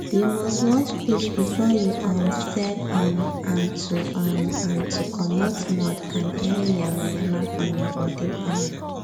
you must wash fish before you um sell um amto um amto commot mud and any yama yama from im body um